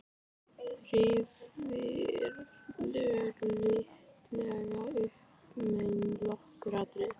Rifjaðu lítillega upp með mér nokkur atriði.